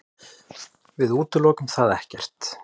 Við útilokum það ekkert.